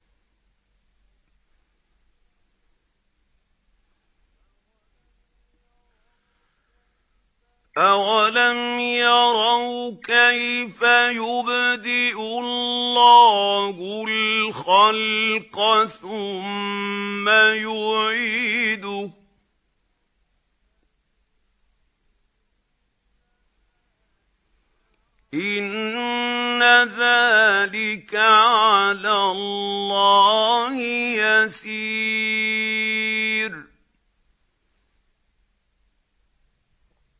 أَوَلَمْ يَرَوْا كَيْفَ يُبْدِئُ اللَّهُ الْخَلْقَ ثُمَّ يُعِيدُهُ ۚ إِنَّ ذَٰلِكَ عَلَى اللَّهِ يَسِيرٌ